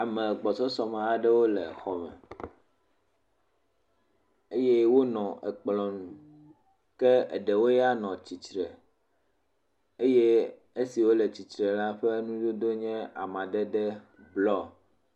ame gbɔsɔsɔ me aɖewo le xɔ me eye wónɔ ekplɔ̃ ŋu ke eɖewo ya nɔ tsitre eye esiwo la tsitre la ƒe nudodo ƒa madede nye blɔ